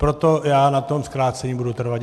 Proto já na tom zkrácení budu trvat.